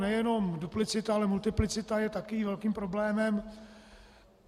Nejenom duplicita, ale multiplicita je také velkým problémem.